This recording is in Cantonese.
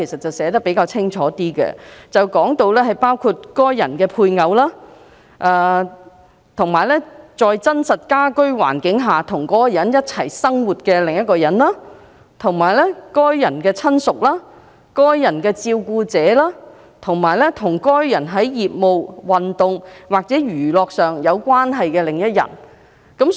《條例草案》清楚訂明，包括：該人的配偶；與該人在真正的家庭基礎上共同生活的另一人；該人的親屬；該人的照料者；以及與該人在業務、體育或消閒關係的另一人。